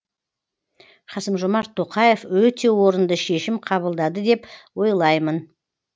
қасым жомарт тоқаев өте орынды шешім қабылдады деп ойлаймын